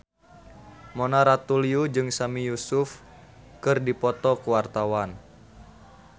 Mona Ratuliu jeung Sami Yusuf keur dipoto ku wartawan